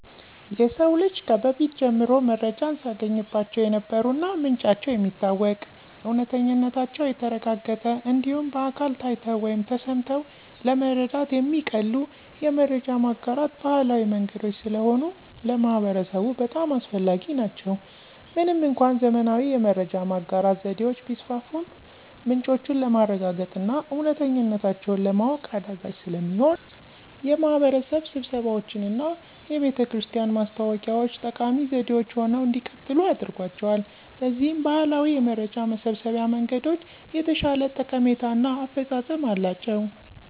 የሰው ልጅ ከበፊት ጀምሮ መረጃን ሲያገኝባቸው የነበሩ እና ምንጫቸው የሚታወቅ፣ እውነተኝነታቸው የተረጋገጠ እንዲሁም በአካል ታይተው ወይም ተሰምተው ለመረዳት የሚቀሉ የመረጃ ማጋራት ባህላዊ መንገዶች ስለሆኑ ለማህበረሰቡ በጣም አስፈላጊ ናቸው። ምንም እንኳን ዘመናዊ የመረጃ ማጋራት ዘዴዎች ቢስፋፉም ምንጮቹን ለማረጋገጥና እውነተኝነታቸውን ለማወቅ አዳጋች ስለሚሆን የማህበረሰብ ስብሰባዎችና የቤተክርስቲያን ማስታወቂያ ዎች ጠቃሚ ዘዴዎች ሆነው እንዲቀጥሉ አድርጓቸዋል። በዚህም ባህላዊ የመረጃ መሰብሰቢያ መንገዶች የተሻለ ጠቀሜታ እና አፈፃፀም አላቸው።